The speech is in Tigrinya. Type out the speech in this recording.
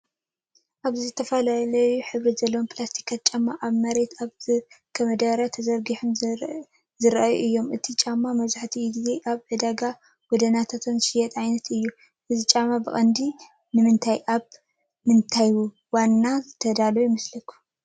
ኣብዚ ዝተፈላለየ ሕብሪ ዘለዎም ፕላስቲክ ጫማታት ኣብ መሬት ኣብ ዝርከብ መዳበርያ ተዘርጊሖም ዘርኢ እዩ። እቲ ጫማ መብዛሕትኡ ግዜ ኣብ ዕዳጋታት ጎደናታት ዝሽየጥ ዓይነት እዩ። እዞም ጫማታት ብቐንዱ ንመን ኣብ ምንታይ እዋናት ዝተዳለዉ ይመስለኩም?